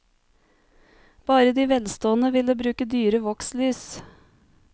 Bare de velstående ville bruke dyre vokslys.